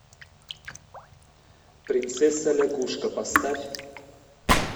принцесса лягушка поставь